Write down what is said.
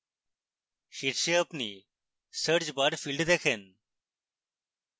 শীর্ষে আপনি search bar field দেখেন